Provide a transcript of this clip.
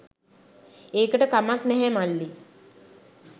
ඒකට කමක් නැහැ මල්ලී